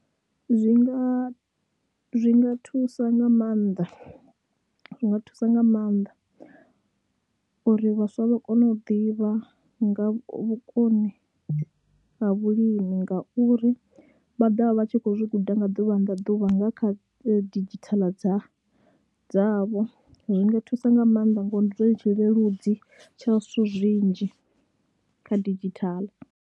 Zwi nga, zwi nga thusa nga maanḓa, zwi nga thusa nga maanḓa uri vhaswa vha kone u ḓivha nga vhukoni ha vhulimi ngauri vha ḓo vha vha tshi khou zwi guda nga ḓuvha na ḓuvha nga kha didzhithala dza dzavho, zwi nga thusa nga maanḓa ngori ndi zwone tshileludzi tsha zwithu zwinzhi kha didzhithala.